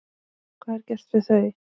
Hvað er gert við þau?